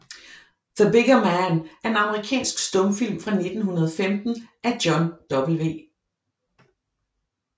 The Bigger Man er en amerikansk stumfilm fra 1915 af John W